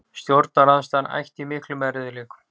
Stjórnarandstaðan ætti í miklum erfiðleikum